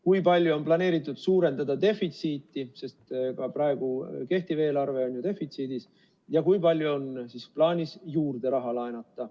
Kui palju on planeeritud suurendada defitsiiti, sest ka praegu kehtiv eelarve on ju defitsiidis, ja kui palju on plaanis raha juurde laenata?